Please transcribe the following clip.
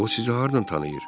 O sizi hardan tanıyır?